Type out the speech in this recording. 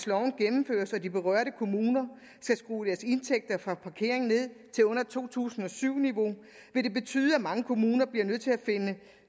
hertil de berørte kommuner skal skrue deres indtægter fra parkering ned til under to tusind og syv niveau vil det betyde at mange kommuner bliver nødt til at finde